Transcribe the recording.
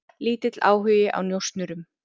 Lítill áhugi á njósnurum